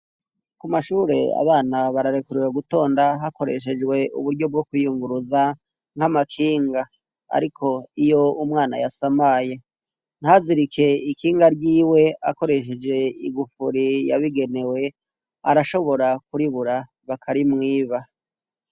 Ku mashure abana bararekuriwe gutonda hakoreshejwe uburyo bwo kwiyunguruza nk'amakinga, ariko iyo umwana yasamaye ntazirike ikinga ryiwe akoresheje igufuri yabigenewe arashobora kuribura bakarimwiba.